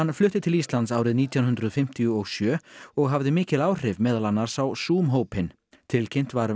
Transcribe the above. flutti til Íslands árið nítján hundruð fimmtíu og sjö og hafði mikil áhrif meðal annars á hópinn tilkynnt var um